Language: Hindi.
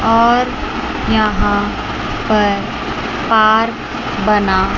और यहाँ पर पार्क बना--